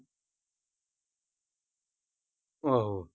ਆਹੋ।